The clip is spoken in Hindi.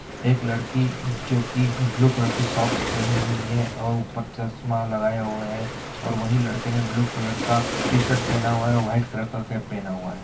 एक लड़की जोकि ब्लू कलर की सॉक्स पहनी हुई है और ऊपर चश्मा लगाए हुए है और वही लड़के ने ब्लू कलर का टी-शर्ट पहना हुआ है और व्हाइट कलर का कैप पहना हुआ है।